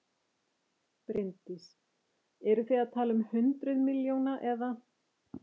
Bryndís: Eru þið að tala um hundruð milljóna eða?